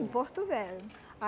Em Porto Velho.